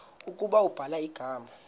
ukuba ubhala igama